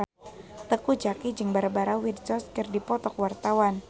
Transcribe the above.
Teuku Zacky jeung Barbara Windsor keur dipoto ku wartawan